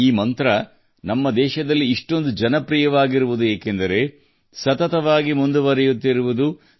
ಈ ಮಂತ್ರವು ನಮ್ಮ ದೇಶದಲ್ಲಿ ತುಂಬಾ ಜನಪ್ರಿಯವಾಗಿದೆ ಏಕೆಂದರೆ ಅದು ಸದಾ ಚಲಿಸುತ್ತಲೇ ಇರುವ ಪ್ರಕೃತಿಯ ಭಾಗವಾಗಿದೆ